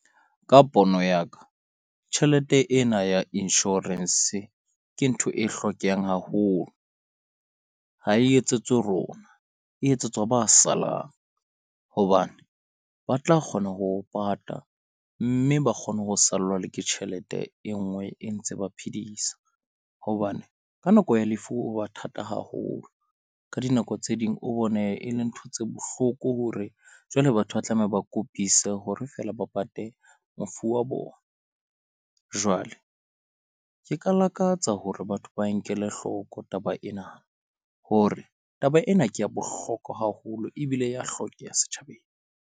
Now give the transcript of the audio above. Ka pono ya ka tjhelete ena ya insurance, ke ntho e hlokehang haholo. Ha e etsetswe rona e etsetswa ba salang, hobane ba tla kgona ho pata mme ba kgone ho sallwa le ke tjhelete e nngwe e ntse ba phedisa hobane ka nako ya lefu ho ba thata haholo. Ka dinako tse ding, o bone e le ntho tse bohloko hore jwale batho ba tlameha, ba kopise hore feela ba pate mofu wa bona. Jwale ke ka lakatsa hore batho ba nkele hloko taba ena hore taba ena ke ya bohlokwa haholo ebile ya hlokeha setjhabeng.